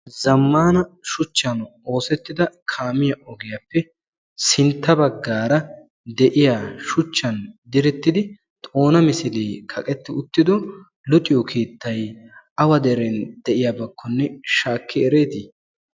Zammaana shuchchan oosettida kaamiya ogiyappe sintta baggaara de"iya shuchchan direttidi xoona misilee kaqetti uttido luxiyo keettayi awa deren de"iyabakkonne shaakki ereetii?